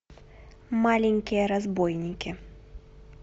маленькие разбойники